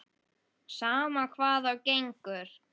Sama hvað á gengur.